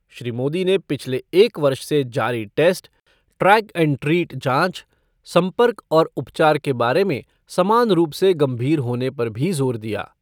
श्री मोदी ने पिछले एक वर्ष से जारी टेस्ट, ट्रैक एंड ट्रीट जांच, संपर्क और उपचार के बारे में समान रूप से गंभीर होने पर भी जोर दिया।